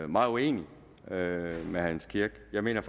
meget uenig med herre jens kirk jeg mener